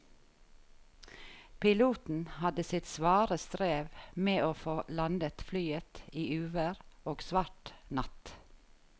Piloten hadde sitt svare strev med å få landet flyet i uvær og svart natt.